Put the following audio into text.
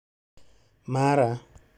Mara